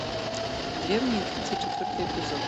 древние тридцать четвертый эпизод